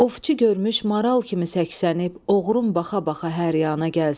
Ovçu görmüş maral kimi səksənib, oğrun baxa-baxa hər yana gəlsin.